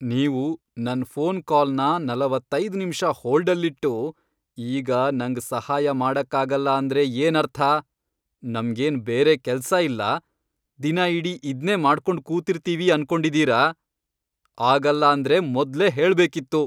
ನೀವು ನನ್ ಫೋನ್ ಕಾಲ್ನ ನಲವತ್ತೈದ್ ನಿಮ್ಷ ಹೋಲ್ಡಲ್ಲಿಟ್ಟು, ಈಗ ನಂಗ್ ಸಹಾಯ ಮಾಡಕ್ಕಾಗಲ್ಲ ಅಂದ್ರೆ ಏನರ್ಥ?! ನಮ್ಗೇನ್ ಬೇರೆ ಕೆಲ್ಸ ಇಲ್ಲ, ದಿನ ಇಡೀ ಇದ್ನೇ ಮಾಡ್ಕೊಂಡ್ ಕೂತಿರ್ತೀವಿ ಅನ್ಕೊಂಡಿದೀರ?! ಆಗಲ್ಲ ಅಂದ್ರೆ ಮೊದ್ಲೇ ಹೇಳ್ಬೇಕಿತ್ತು.